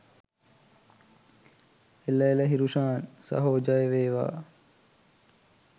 එළ එළ හිරුෂාන් සහෝ ජය වේවා